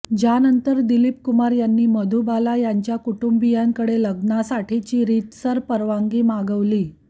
ज्यानंतर दिलीप कुमार यांनी मधुबाला यांच्या कुटुंबीयांकडे लग्नासाठीची रितसर परवानगी मागवली